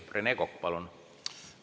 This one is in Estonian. Rene Kokk, palun!